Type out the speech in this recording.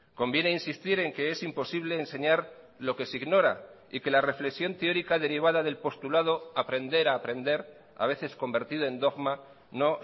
conviene insistir en que es imposible enseñar lo que se ignora y que la reflexión teórica derivada del postulado aprender a aprender a veces convertido en dogma no